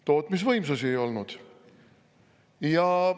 Tootmisvõimsusi ei olnud!